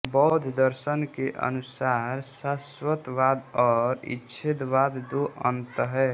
बौद्ध दर्शन के अनुसार शाश्वतवाद और उच्छेदवाद दो अंत हैं